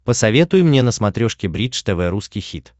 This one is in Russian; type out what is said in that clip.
посоветуй мне на смотрешке бридж тв русский хит